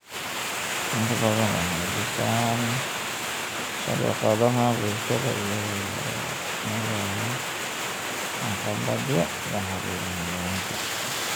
inta badan waxay dhisaan shabakadaha bulshada iyada oo loo marayo waxqabadyo la xiriira Xayawaanka.